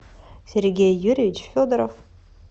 сергей юрьевич федоров